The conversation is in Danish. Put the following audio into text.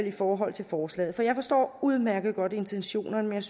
i forhold til forslaget jeg forstår udmærket godt intentionerne men